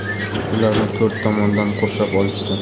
Ularni to‘rt tomondan qurshab olishdi.